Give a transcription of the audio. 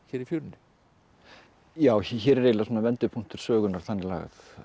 í fjörunni já hér er eiginlega svona vendipunktur sögunnar þannig lagað